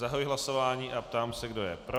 Zahajuji hlasování a ptám se, kdo je pro.